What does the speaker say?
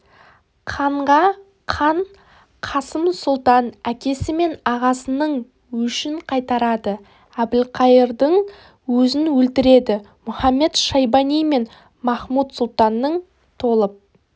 қанға қан қасым сұлтан әкесі мен ағасының өшін қайтарады әбілқайырдың өзін өлтіреді мұхамед-шайбани мен махмуд-сұлтанның толып